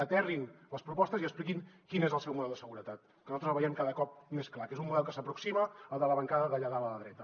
aterrin les propostes i expliquin quin és el seu model de seguretat que nosaltres el veiem cada cop més clar que és un model que s’aproxima al de la bancada d’allà dalt a la dreta